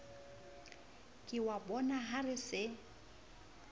ke wa bonaha re se